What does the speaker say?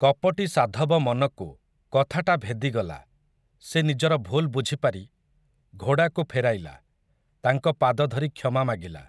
କପଟୀ ସାଧବ ମନକୁ, କଥାଟା ଭେଦିଗଲା, ସେ ନିଜର ଭୁଲ ବୁଝିପାରି, ଘୋଡ଼ାକୁ ଫେରାଇଲା, ତାଙ୍କ ପାଦ ଧରି କ୍ଷମା ମାଗିଲା ।